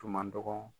Tun man dɔgɔ